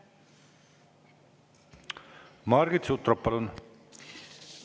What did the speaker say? Margit Sutrop, palun!